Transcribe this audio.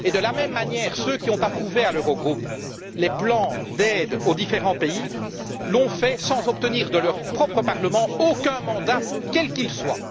De la même manière, ceux qui, au sein de l'Eurogroupe, ont approuvé les plans d'aide aux différents pays l'ont fait sans obtenir de leur propre parlement aucun mandat, quel qu'il soit.